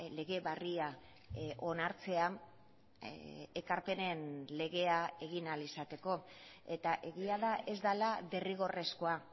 lege berria onartzea ekarpenen legea egin ahal izateko eta egia da ez dela derrigorrezkoa